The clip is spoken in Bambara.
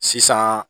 Sisan